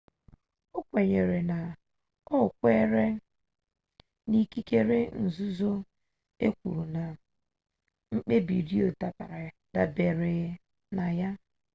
o kwenyere na o kweere na ikikere nzuzo e kwuru nke mkpebi roe dabere na ya